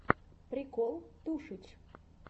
прикол тушич